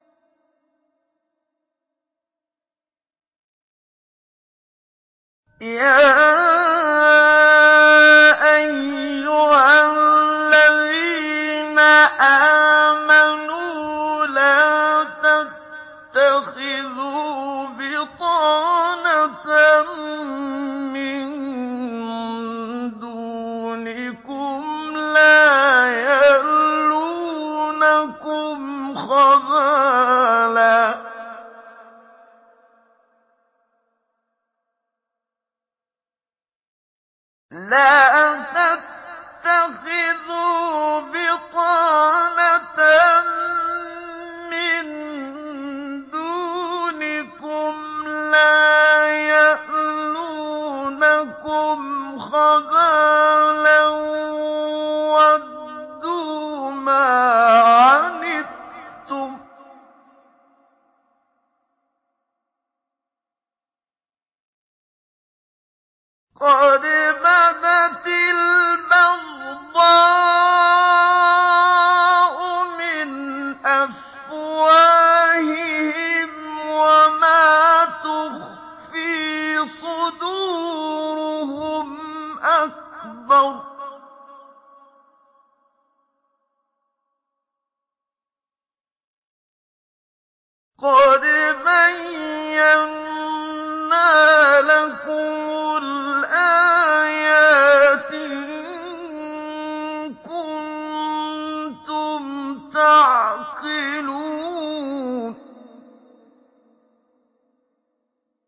يَا أَيُّهَا الَّذِينَ آمَنُوا لَا تَتَّخِذُوا بِطَانَةً مِّن دُونِكُمْ لَا يَأْلُونَكُمْ خَبَالًا وَدُّوا مَا عَنِتُّمْ قَدْ بَدَتِ الْبَغْضَاءُ مِنْ أَفْوَاهِهِمْ وَمَا تُخْفِي صُدُورُهُمْ أَكْبَرُ ۚ قَدْ بَيَّنَّا لَكُمُ الْآيَاتِ ۖ إِن كُنتُمْ تَعْقِلُونَ